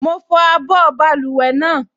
Mo fọ abọ́ báluwẹ̀ náà